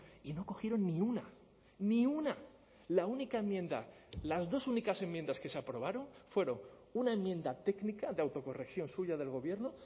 y no cogieron ni una ni una la única enmienda las dos únicas enmiendas que se aprobaron fueron una enmienda técnica de autocorrección suya del gobierno